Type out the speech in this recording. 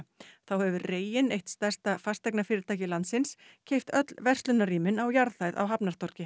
þá hefur reginn eitt stærsta landsins keypt öll á jarðhæð á